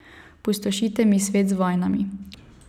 Pustošite mi svet z vojnami.